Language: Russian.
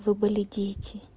вы были дети